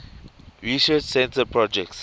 research center projects